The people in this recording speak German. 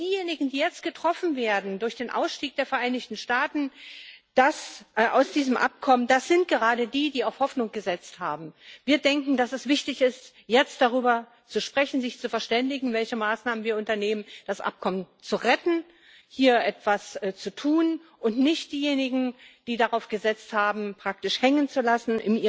Und diejenigen, die jetzt durch den Ausstieg der Vereinigten Staaten aus diesem Abkommen getroffen werden, sind gerade die, die auf Hoffnung gesetzt haben. Wir denken, dass es wichtig ist, jetzt darüber zu sprechen, sich zu verständigen, welche Maßnahmen wir unternehmen, um das Abkommen zu retten, hier etwas zu tun, und nicht diejenigen im Iran, die darauf gesetzt haben, praktisch hängenzulassen